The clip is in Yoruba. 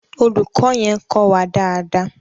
Olùkọ́ yẹn kọ́ wa dáadáa.